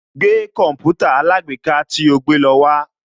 Gbé Kọ̀mpútà alágbèéká tí o gbé lọ wá